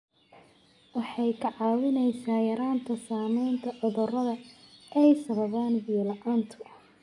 Waxay kaa caawinaysaa yaraynta saamaynta cudurrada ay sababaan biyo la'aantu.